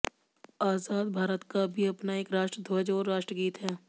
आझाद भारत का भी अपना एक राष्ट्र ध्वज और राष्ट्र गीत है